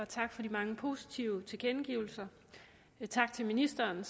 tak for de mange positive tilkendegivelser og tak til ministeren